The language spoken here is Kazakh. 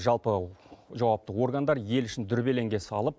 жалпы жауапты органдар ел ішін дүрбелеңге салып